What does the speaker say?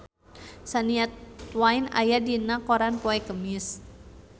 Shania Twain aya dina koran poe Kemis